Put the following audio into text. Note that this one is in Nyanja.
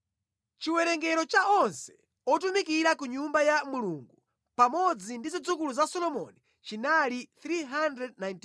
Chiwerengero cha onse otumikira ku Nyumba ya Mulungu pamodzi ndi zidzukulu za Solomoni chinali 392.